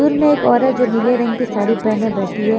School में एक औरत जो नीले रंग की साड़ी पहने बैठी है।